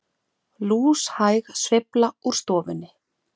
Lúshæg sveifla úr stofunni.